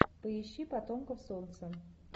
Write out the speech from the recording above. поищи потомков солнца